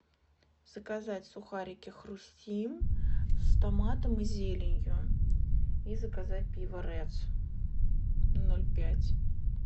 заказать сухарики хрустим с томатом и зеленью и заказать пиво редс ноль пять